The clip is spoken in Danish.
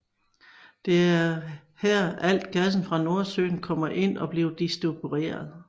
Det er her alt gassen fra Nordsøen kommer ind og bliver videre distribueret